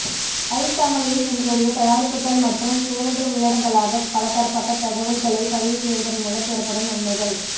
ஐ தமிழில் உங்களுடைய தயாரிப்புக்கள் மற்றும் சேவைகள் உள்ளடங்கலாக பலதரப்பட்ட தகவல்களை பதிவு செய்வதன் மூலம் பெறப்படும் நன்மைகள்